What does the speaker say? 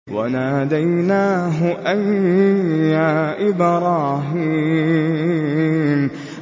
وَنَادَيْنَاهُ أَن يَا إِبْرَاهِيمُ